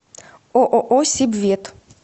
ооо сибвет